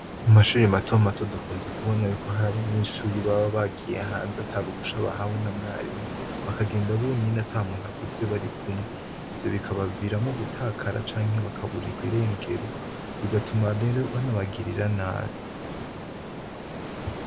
Mumashure mato mato dukunze kubona y'uko hari abanyeshure baba bagiye hanze ata ruhusha bahawe na mwarimu, bakagenda bonyene ata muntu akuze barikumwe. Ivyo bikabaviramwo gutakara canke bakaburirwa irengero, bigatuma rero banabagirira nabi.